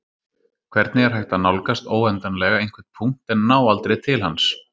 Hvernig er hægt að nálgast óendanlega einhvern punkt en ná aldrei til hans?